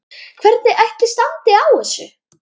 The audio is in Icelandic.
Hvernig ætli standi á þessu?